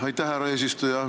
Aitäh, härra eesistuja!